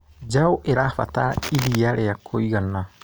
Njaũ ĩrabatara iria ria kũigana.